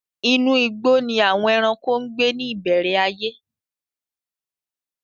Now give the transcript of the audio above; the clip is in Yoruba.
Inú igbó ni àwon ẹranko ń gbé ní ìbẹ̀rẹ̀ ayé.